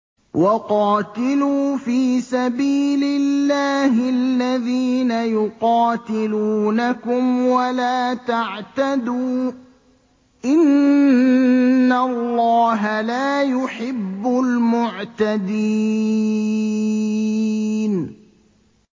وَقَاتِلُوا فِي سَبِيلِ اللَّهِ الَّذِينَ يُقَاتِلُونَكُمْ وَلَا تَعْتَدُوا ۚ إِنَّ اللَّهَ لَا يُحِبُّ الْمُعْتَدِينَ